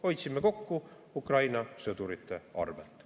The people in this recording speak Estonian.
Hoidsime kokku Ukraina sõdurite arvel.